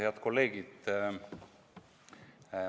Head kolleegid!